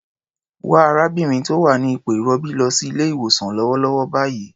Wa arábìnrin tó wà ní ipò ìrọbí lọ sí ilé-ìwosàn lọ́wọ́lọ́wọ́ báyìí.